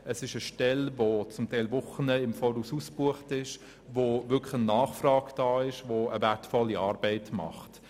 Es handelt sich um eine zum Teil um Wochen im Voraus ausgebuchte Stelle, wo eine wirkliche Nachfrage besteht und die eine wertvolle Arbeit leistet.